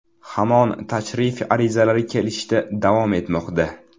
Hamon tashrif arizalari kelishda davom etmoqda.